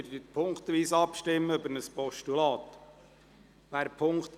Wir stimmen ziffernweise über ein Postulat ab.